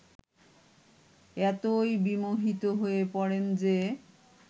এতই বিমোহিত হয়ে পড়েন যে